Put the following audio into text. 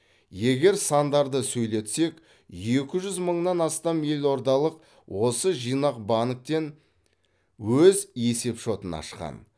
егер сандарды сөйлетсек екі жүз мыңнан астам елордалық осы жинақ банктен өз есепшотын ашқан